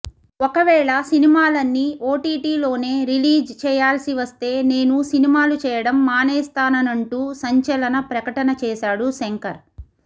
ఒకవేళ సినిమాలన్నీ ఓటీటీలోనే రిలీజ్ చేయాల్సి వస్తే నేను సినిమాలు చేయటం మానేస్తాననంటూ సంచలన ప్రకటన చేశాడు శంకర్